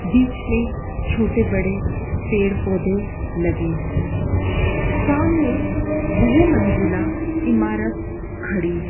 बीच में छोटे बड़े पेड़ पौधे लगे हुए हैं सामने बहु मंजिला इमारत खड़ी है।